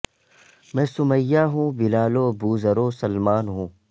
میں سمیہ ہوں بلال و بو ذر و سلمان ہوں